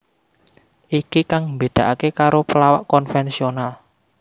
Iki kang mbedakaké karo pelawak konvensional